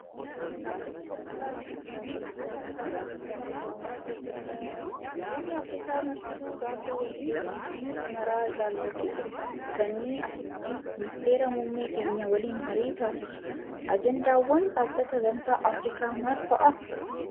Dhaabbanni gamtaa Afrikaa kan biyyoota Afrikaa hundumaa Itoophiyaa keessatti argama. Biyoonni Afrikaa martuu gaafa walgayiin biyya maraa ilaallatu jiru dhufanii asitti ministeera muummee keenya waliin marii taasisu. Ajandaawwan dhaabbata gamtaa Afrikaa maal fa'aa?